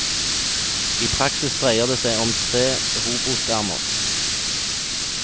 I praksis dreier det seg om tre robotarmer.